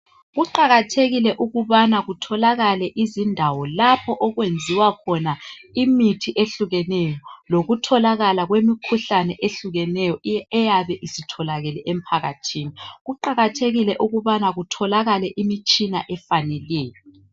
Kuqakathekile ukubana kutholakale izindawo lapho okwenziwa khona imithi ehlukeneyo lokutholakala kwemikhuhlane ehlukeneyo eyabe isitholakele empakathi. Kuqakathekile ukubana kutholakale imitshina etshiyeneyo